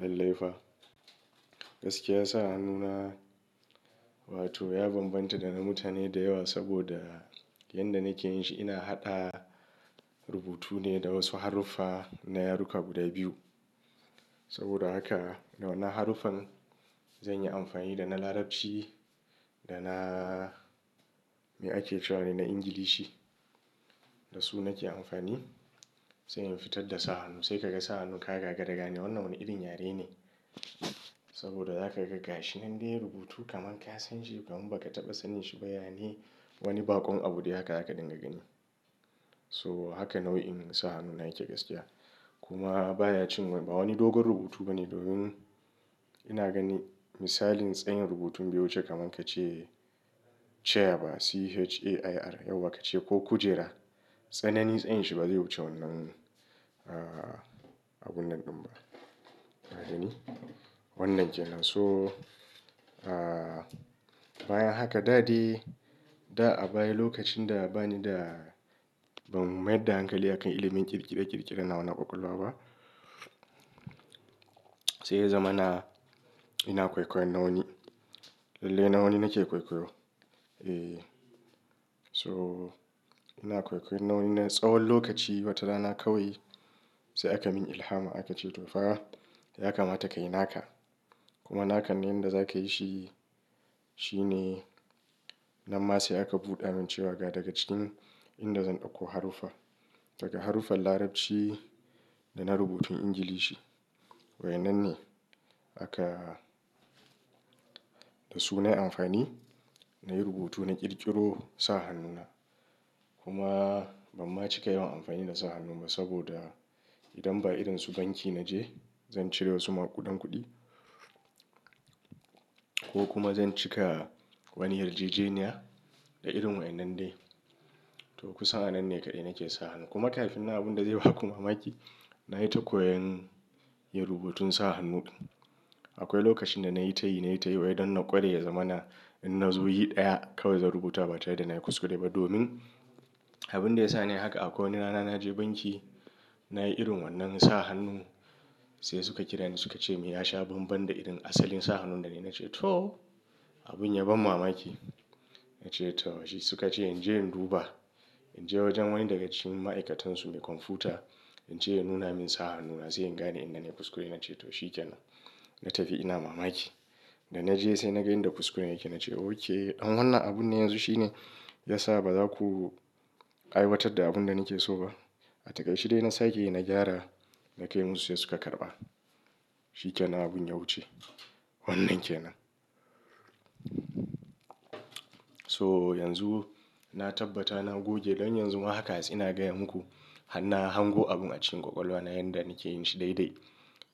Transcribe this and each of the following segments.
Lallai fa. Gaskiya sa hannuna, wato ya bambanta da na mutane da yawa saboda yanda nake yin shi ina haɗa rubutu ne da wasu haruffa na yaruka guda biyu. Saboda haka, da wannan haruffan zan yi amfani da na Larabci da na me ake cewa ne na Ingilishi. Da su nake amfani sai in fitar da sa hannu. Sai kaga sa hannun ka yagaga raga ne wannan wane irin yare ne. Saboda za ka ga gashi nan dai rubutu kaman ka san shi ko kuma ba ka taɓa sanin shi ba, yane wani baƙon abu dai haka haka dinga gani. So haka nau'in sa hannuna yake gaskiya. Kuma baya cin wani dogon rubutu bane domin ina gani misalin tsayin rubutun biyu wuce kaman kace chair ba C-H-A-I-R yauwa kace ko kujera. Tsanani tsayin shi ba zai wuce wannan, ah, abun nan ɗin ba. Haka ne? Wannan kenan. So, ah, baya haka. Da dai, da a baya lokacin da bani da-- ban mayar da hankali a kan ilimin ƙirƙire-ƙirƙire nawa na ƙwaƙwalwa ba. Sai ya zama na, ina kwaikwayon nawani. Lalle nawani nake kwaikwayo. Eh. So ina kwaikwayon nau'in na tsawon lokaci wata rana kawai sai aka mun ilhama aka ce to fa ya kamata ka yi naka. Kuma nakannin da za ka yi shi, shi ne na ma sai aka buɗa min cewa ga daga cikin inda zan ɗauko haruffa. Daga haruffan Larabci da na rubutun Ingilishi. Wa'yannan ne aka da su nayi amfani nayi rubutu na ƙirƙiro sa hannuna. Kuma ban ma cika yawan amfani da sa hannun ba saboda idan ba irin su banki na je, zan cire wasu ma kuɗan kuɗi. Ko kuma zan cika wani yarjejeniya da irin wannan dai. To kusan a wannan ne kaɗai nake sa hannu. Kuma kafin nan abin da zai ba kuma maki, na yi ta koyan yin rubutun sa hannu. Akwai lokacin da na yi tayi, na yi tayi wai don na ƙware ya zama na, inna zo yi ɗaya kawai zan rubuta ba tare da na yi kuskure ba domin abin da ya sa ne haka akwai wani rana na je banki, na yi irin wannan sa hannun sai suka kira ni suka ce me ya sha bambam da irin asalin sa hannun da na yi. Na ce to abin ya ban mamaki. Na ce to bashi. Suka ce in je in duba. In je wajen wani daga cikin ma'aikatansu mai kwamfuta, in je ya nuna min sa hannuna sai in gane inda ne kuskure na. Na ce to shi ke nan. Na tafi ina mamaki. Da na je sai na ga inda kuskuren yake. Na ce okay. Amma wannan abun ne yanzu shine ya sa ba za ku a yi wata da abin da nake so ba. A takaice dai na sake yi na gyara, na kai musu sai suka karɓa. Shi ke nan abin ya wuce. Wannan kenan. So yanzu na tabbata na goge don yanzu ma haka sai ina gaya muku har na hango abun a cikin ƙwaƙwalwa na yanda nake yin shi dai dai.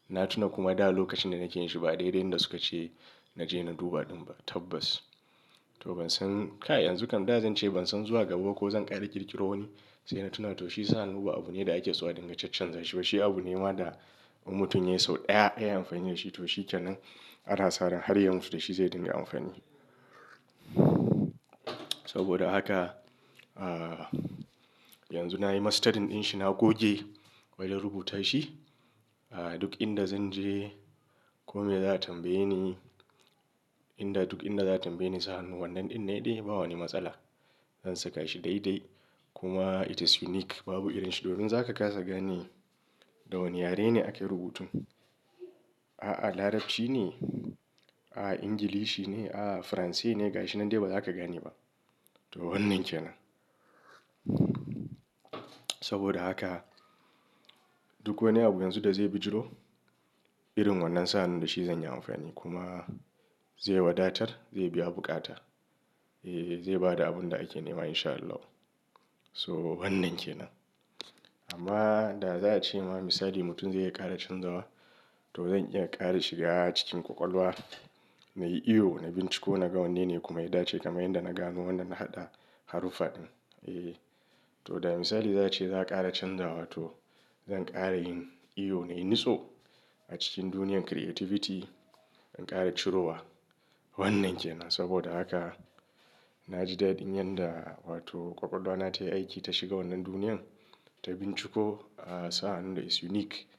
Na tuna kuma da lokacin da nake yin shi ba daidai yanda suka ce na je na duba ɗin ba tabbas. To ban san, kai yanzu kam da zan ce ban san zuwa gaba ko zan ƙara ƙirƙiro wani sai na tuna to shi sa hannu ba abune da ake sowa dinga cancan za shi. Toshi abu ne ma da in mutum sau ɗaya ya yi amfani da shi. To shi ke nan. Ana saran har yanzu da shi zai dinga amfani. Saboda haka, ah, yanzu na yi masterin ɗin shi na goge wai don rubuta shi. Ah, duk inda zan je ko me za a tambaye ni, inda duk inda za a tambaye ni sa hannun wannan ɗin ne yi dai ba wani matsala. Zan saka shi dai dai kuma it is unique babu irin shi domin za ka kasa gane da wane yare ne ake rubutun. A'a Larabci ne? A'a Ingilishi ne? A'a Faransanci ne? Ga shi nan dai ba za ka gane ba. To wannan kenan. Saboda haka duk wani abu yanzu da zai bijiro irin wannan sa hannun da shi zan yi amfani kuma zai wadatar zai biya buƙata. Eh, zai ba da abun da ake nema in sha Allah. So wannan kenan. Amma da za a ce ma misali mutum zai iya ƙara canzawa to zan iya ƙara shiga cikin ƙwaƙwalwa nayi iyo nayi binciko na ga wanne ne kuma ya dace kamar yadda na gano wannan na haɗa haruffa ɗin. Eh. To da misali za a ce za a ƙara canzawa to zan ƙara yin iyo nayi nutso a cikin duniyar creativity zan ƙara ciro wa. Wannan kenan saboda haka na ji dadin yanda wato ƙwaƙwalwa na ta yi aiki ta shiga wannan duniyar ta binciko, ah, sa hannun da is unique.